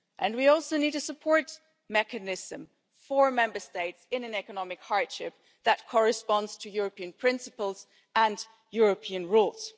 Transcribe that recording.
We also need a support mechanism for Member States in economic hardship that fits with European principles and European rules.